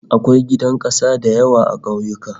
Akwai gidan kasa da yawa a ƙauyuka